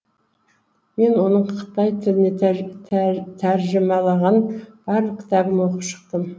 мен оның қытай тіліне тәржімаланған барлық кітабын оқып шықтым